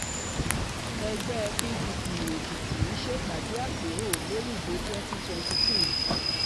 ẹgbẹ́ pdp èkìtì ṣèpàdé àpérò lórí ìbò twenty twenty-two